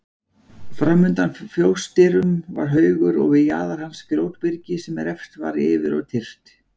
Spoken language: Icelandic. Framundan fjósdyrum var haugur og við jaðar hans grjótbyrgi sem reft var yfir og tyrft.